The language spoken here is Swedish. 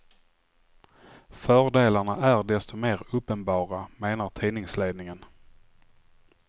Fördelarna är desto mer uppenbara, menar tidningsledningen.